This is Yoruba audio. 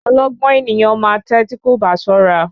Ọlọ́gbọ́n ènìyàn ma tè tí kò bá ṣọ́ra.